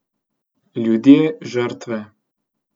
Ljudje žrtve.